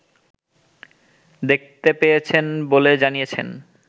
দেখতে পেয়েছেন বলে জানিয়েছেন